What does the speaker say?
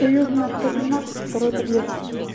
союзная сто тринадцать второй подъезд